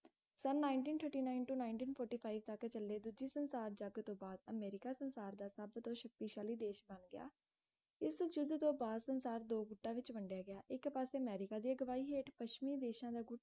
son nineteen thirteen nine to nineteen forty five ਤਕ ਚਲੇ ਦੂਜੇ ਸੰਸਾਰ ਜਗ ਤੋਂ ਬਾਅਦ ਅਮਰੀਕਾ ਸੰਸਾਰ ਦਾ ਸਬਤੋ ਸ਼ਕਤੀਸ਼ਾਲੀ ਦੇਸ਼ ਬਣ ਗਿਆ ਇਸ ਯੁੱਧ ਤੋਂ ਬਾਦ ਸੰਸਾਰ ਦੋ ਗੁਟਾਂ ਵਿੱਚ ਵੰਡਿਆ ਗਿਆ ਇਕ ਪਾਸੇ ਅਮਰੀਕਾ ਸੀ ਅਗਵਾਈ ਹੇਠ ਪੱਛਮੀ ਦੇਸ਼ਾਂ ਦਾ ਗੁੱਟ